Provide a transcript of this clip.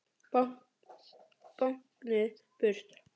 Báknið burt!